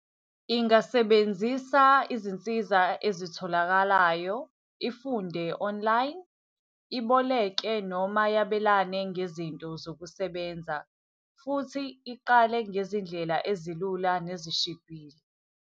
Ingasebenzisa izinsiza ezitholakalayo. Ifunde online, iboleke noma yabelane ngezinto zokusebenza, futhi iqale ngezindlela ezilula nezishibhile.